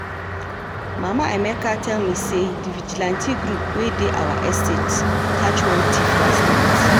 Mama Emeka tell me say the vigilante group wey dey our estate catch one thief last night